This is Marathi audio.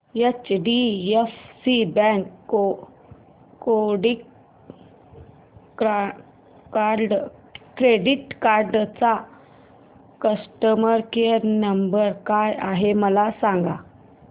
एचडीएफसी बँक क्रेडीट कार्ड चा कस्टमर केयर नंबर काय आहे मला सांगा